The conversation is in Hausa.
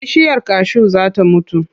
Bishiyar kashu za ta mutu.